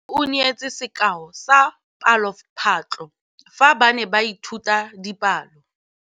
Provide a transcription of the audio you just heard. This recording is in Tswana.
Moithuti o neetse sekaô sa palophatlo fa ba ne ba ithuta dipalo.